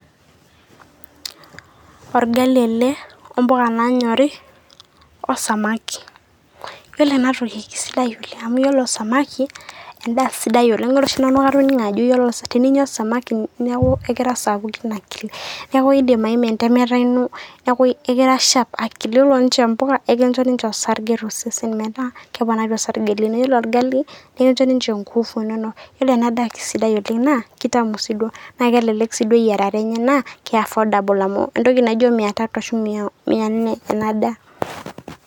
orgali ele ompuka nanyori ,osamaki ,ore ena toki na kisidai oleng amu ore samaki na endaa sidai oleng are oshi nanu na katoningo ajo teninyia samaki niaku ekira sapukin akili niaku endim aima entemata ino niaku ekira sharp akili yiolo ninche mpuka ekincho osarge tosesen meeta keponari osarge lino ore ninye olgali ekincho ninye inkufu inono, ore ena daa na kisidai oleng na kitamu si duo na kelelek eyiarata enye na kiaffordable amu entoki naijio mia tatu ashu mia nne ena daa.